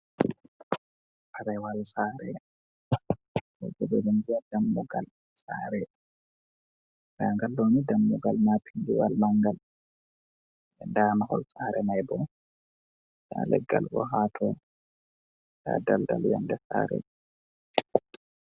Taprawal sare, min vi'a dam mugal sare da gal ɗooni dammugal maapindiwal mangal, daa mahol sare mai bo da leggal bo haato ta daldal yonde sare.